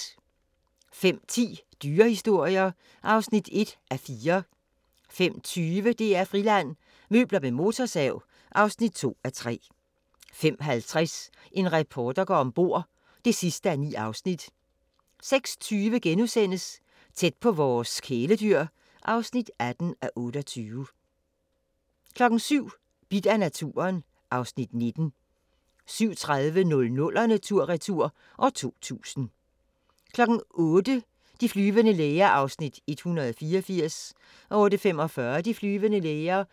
05:10: Dyrehistorier (1:4) 05:20: DR-Friland: Møbler med motorsav (2:3) 05:50: En reporter går om bord (9:9) 06:20: Tæt på vores kæledyr (18:28)* 07:00: Bidt af naturen (Afs. 19) 07:30: 00'erne tur-retur: 2000 08:00: De flyvende læger (184:224) 08:45: De flyvende læger